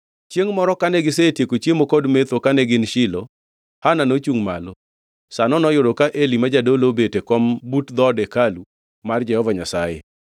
Chiengʼ moro kane gisetieko chiemo kod metho kane gin Shilo, Hana nochungʼ malo. Sano noyudo ka Eli ma jadolo obet e kom but dhood hekalu mar Jehova Nyasaye.